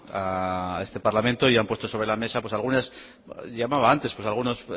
a este parlamento y han puesto sobre la mesa algunas llamaba antes pues algunos